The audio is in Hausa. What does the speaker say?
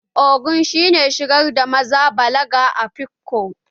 Ogo shi ne shigar da maza balaga a afikpo